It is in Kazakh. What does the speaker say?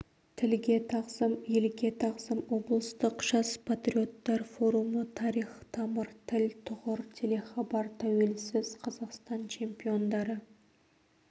тілге тағзым елге тағзым облыстық жас патриоттар форумы тарих тамыр тіл тұғыр телехабар тәуелсіз қазақстан чемпиондары